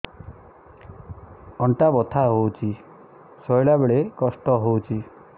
ଅଣ୍ଟା ବଥା ହଉଛି ଶୋଇଲା ବେଳେ କଷ୍ଟ ହଉଛି